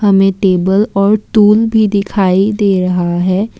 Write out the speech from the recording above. हमें टेबल और टूल भी दिखाई दे रहा है।